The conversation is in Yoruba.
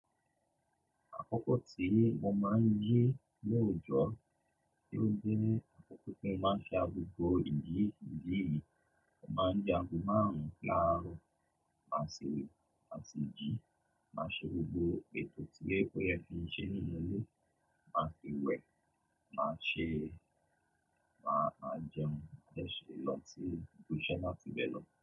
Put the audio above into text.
Àkókò tí mo máa ń jí ní òòjọ́, tí ó jẹ́ àkókò tí mo máa ṣe agogo ìjí, ìjí mi. Mo máa ń jẹ àgo márùn-ún laarọ, màá si, màá si jí, màá ṣe gbogbo ètò tí ó yẹ ki ń ṣe nínú ilé, màá si wẹ̀, màá ṣe, màá jẹun, màá ṣe lọ sí ibiṣẹ́ náà tí bẹ lọ.